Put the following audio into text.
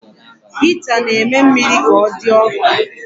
Hita na-eme mmiri ka ọ dị ọkụ